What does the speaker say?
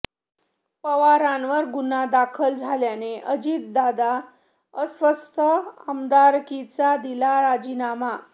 पवारांवर गुन्हा दाखल झाल्यानेअजितदादा अस्वस्थ आमदारकीचा दिला राजीनामा